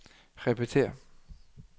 repetér